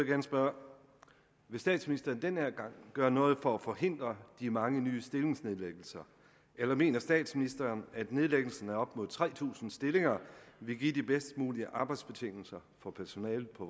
gerne spørge vil statsministeren den her gang gøre noget for at forhindre de mange nye stillingsnedlæggelser eller mener statsministeren at nedlæggelsen af op mod tre tusind stillinger vil give de bedst mulige arbejdsbetingelser for personalet på